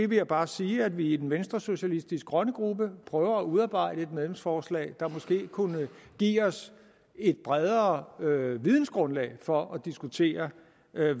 vil jeg bare sige at vi i den venstresocialistiske grønne gruppe prøver at udarbejde et medlemsforslag der måske kunne give os et bredere vidensgrundlag for at diskutere